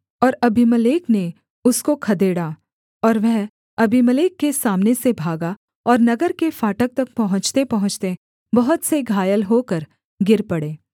और अबीमेलेक ने उसको खदेड़ा और वह अबीमेलेक के सामने से भागा और नगर के फाटक तक पहुँचतेपहुँचते बहुत से घायल होकर गिर पड़े